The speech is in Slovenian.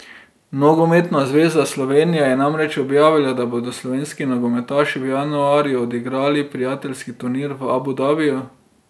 Nogometna zveza Slovenije je namreč objavila, da bodo slovenski nogometaši v januarju odigrali prijateljski turnir v Abu Dabiju.